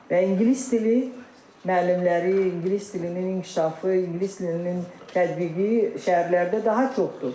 Və ingilis dili müəllimləri, ingilis dilinin inkişafı, ingilis dilinin tətbiqi şəhərlərdə daha çoxdur.